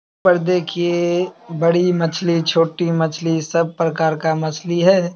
पर देखिए बड़ी मछली छोटी मछली सब प्रकार का मछली है।